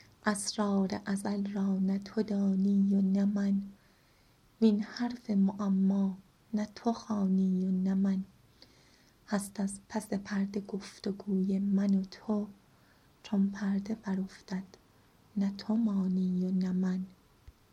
اسرار ازل را نه تو دانی و نه من وین حرف معما نه تو خوانی و نه من هست از پس پرده گفت وگوی من و تو چون پرده برافتد نه تو مانی و نه من